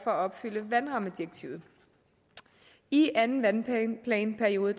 at opfylde vandrammedirektivet i anden vandplanperiode